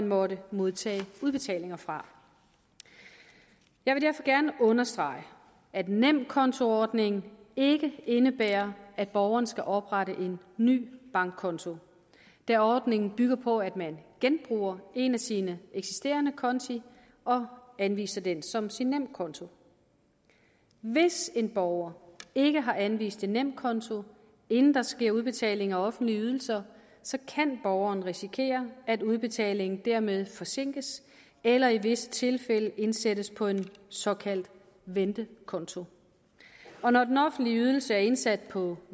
måtte modtage udbetalinger fra jeg vil derfor gerne understrege at nemkontoordningen ikke indebærer at borgerne skal oprette en ny bankkonto da ordningen bygger på at man genbruger en af sine eksisterende konti og anviser den som sin nemkonto hvis en borger ikke har anvist en nemkonto inden der sker udbetaling af offentlige ydelser kan borgeren risikere at udbetalingen dermed forsinkes eller i visse tilfælde indsættes på en såkaldt ventekonto når den offentlige ydelse er indsat på